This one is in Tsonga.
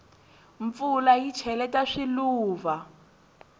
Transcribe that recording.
mpfula yi cheleta swiluva